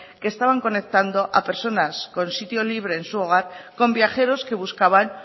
que estaban conectando a personas con sitio libre en su hogar con viajeros que buscaban